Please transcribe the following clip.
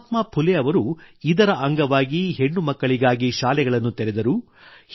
ಮಹಾತ್ಮಾ ಫುಲೆ ಅವರು ಇದರ ಅಂಗವಾಗಿ ಹೆಣ್ಣುಮಕ್ಕಳಿಗಾಗಿ ಶಾಲೆಗಳನ್ನು ತೆರೆದರು